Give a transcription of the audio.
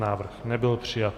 Návrh nebyl přijat.